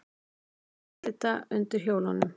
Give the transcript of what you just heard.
Edita undir hjólunum.